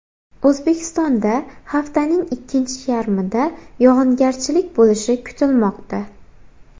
O‘zbekistonda haftaning ikkinchi yarmida yog‘ingarchilik bo‘lishi kutilmoqda.